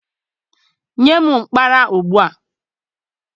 Nye m mkpara ugbu a!